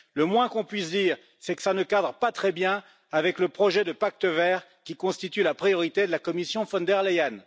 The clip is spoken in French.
Le moins qu'on puisse dire, c'est que ça ne cadre pas très bien avec le projet de pacte vert qui constitue la priorité de la Commission von der Leyen.